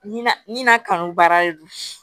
Na nin na kanu baara de do